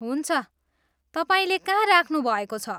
हुन्छ, तपाईँले कहाँ राख्नु भएको छ?